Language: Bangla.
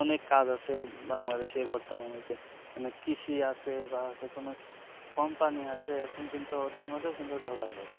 অনেক কাজ আছে bangadesh এ বতমানে যে অনেক কৃষি আছে বা যেকোনো company আছে এখন কিন্তু ওদের মধ্যেও কিন্তু ঢোকা যায়